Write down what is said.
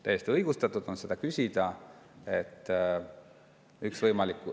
Täiesti õigustatud on seda küsida.